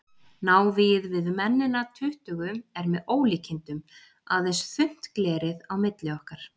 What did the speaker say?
Návígið við mennina tuttugu er með ólíkindum, aðeins þunnt glerið á milli okkar.